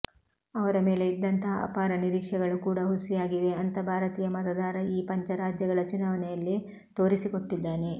ಅವರ ಮೇಲೆ ಇದ್ದಂತಹ ಅಪಾರ ನಿರೀಕ್ಷೆಗಳು ಕೂಡ ಹುಸಿಯಾಗಿವೆ ಅಂತ ಭಾರತೀಯ ಮತದಾರ ಈ ಪಂಚ ರಾಜ್ಯಗಳ ಚುನಾವಣೆಯಲ್ಲಿ ತೋರಿಸಿಕೊಟ್ಟಿದ್ದಾನೆ